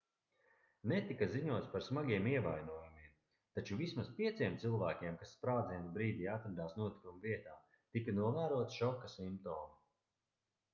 netika ziņots par smagiem ievainojumiem taču vismaz pieciem cilvēkiem kas sprādziena brīdī atradās notikuma vietā tika novēroti šoka simptomi